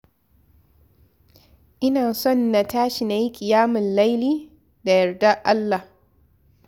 Ina son na tashi na yi ƙiyamul laili da yardar Allah.